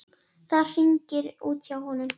Það hringir út hjá honum.